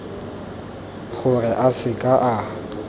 gore a se ke a